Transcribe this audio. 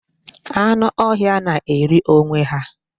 Anụ ọhịa na-eri onwe ha.